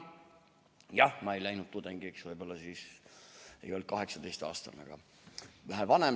Jah, ma ei läinud tudengiks siis, kui olin 18-aastane, vaid olin vähe vanem.